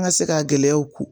An ka se ka gɛlɛyaw ko